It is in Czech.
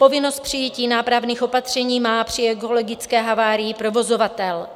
Povinnost přijetí nápravných opatření má při ekologické havárii provozovatel.